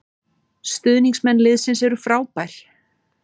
Stuðningsmenn liðsins eru frábær